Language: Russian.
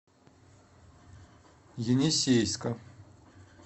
енисейска